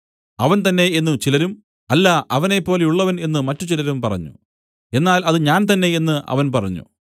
അവൻ തന്നേ എന്നു ചിലരും അല്ല അവനെപ്പോലെയുള്ളവൻ എന്നു മറ്റുചിലരും പറഞ്ഞു എന്നാൽ അത് ഞാൻ തന്നേ എന്നു അവൻ പറഞ്ഞു